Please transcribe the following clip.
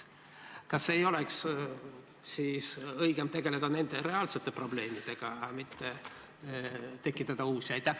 Kas ei oleks siis õigem tegeleda nende reaalsete probleemidega, mitte tekitada uusi?